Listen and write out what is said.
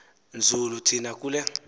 nzulu thina kule